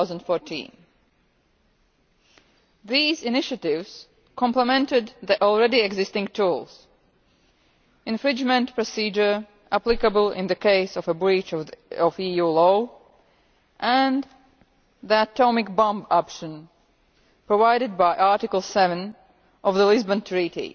2014. These initiatives complemented the already existing tools the infringement procedure applicable in the case of a breach of EU law, and the atomic bomb' option provided by Article 7 of the Lisbon Treaty,